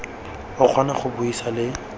o kgona go buisa le